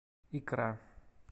икра